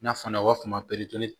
Nafan fana u b'a fɔ o ma ko